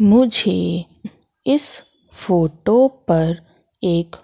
मुझे इस फोटो पर एक